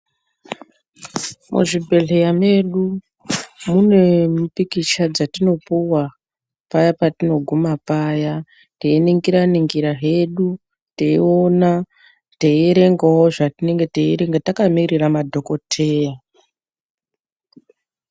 Muzvibhedhleya medu, munempikicha dzatinopuwa paya patinoguma paya, teyiningira ningira zvedu, teyiwona, teyiyerengawo zvatinenge teyiyrenga takamirira madhokoteya.